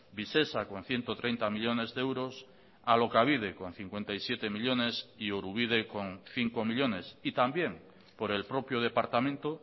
visesa con ciento treinta millónes de euros alokabide con cincuenta y siete millónes y orubide con cinco millónes y también por el propio departamento